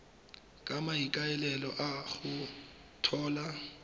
ka maikaelelo a go tlhola